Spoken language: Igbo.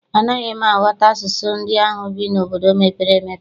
Anaghị m aghọta asụsụ ndị ahụ bi n'obodo mepere emepe.